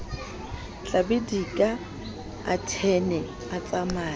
tlabidika a thwene a tsamaye